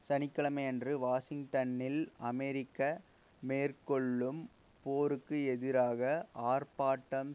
சனி கிழமையன்று வாஷிங்டனில் அமெரிக்க மேற்கொள்ளும் போருக்கு எதிராக ஆர்பாட்டம்